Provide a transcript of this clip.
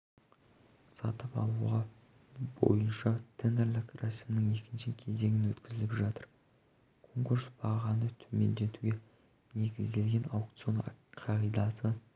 сатып алу бойынша тендерлік рәсімнің екінші кезеңін өткізіп жатыр конкурс бағаны төмендетуге негізделген аукцион қағидасы